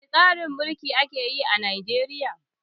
Wani tsarin mulki ake yi a Najeriya?